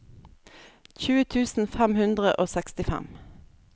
tjue tusen fem hundre og sekstifem